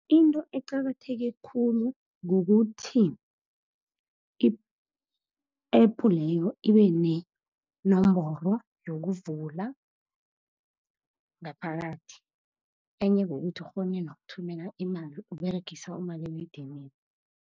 Into eqakatheke khulu kukuthi i-App leyo ibe nenomboro yokuvula ngaphakathi. Enye kukuthi ukghone nokuthumela imali uberegisa umaliledinini.